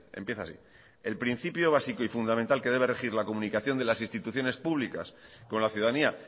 empieza así el principio básico y fundamental que debe regir la comunicación de las instituciones públicas con la ciudadanía